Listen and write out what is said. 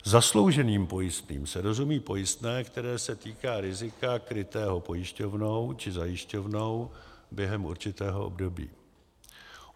Zaslouženým pojistným se rozumí pojistné, které se týká rizika krytého pojišťovnou či zajišťovnou během určitého období.